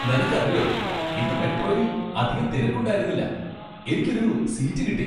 നിനക്കറിയോ ഇന്ന് മെട്രോയിൽ അധികം തിരക്ക് ഉണ്ടായിരുന്നില്ല. എനിക്ക് ഒരു സീറ്റ് കിട്ടി .